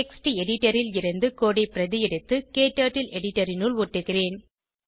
text editor ல் இருந்து code ஐ பிரதி எடுத்து க்டர்ட்டில் எடிட்டர் இனுள் ஒட்டுகிறேன்